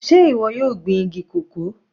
Sé ìwọ yóò gbin igi cocoa?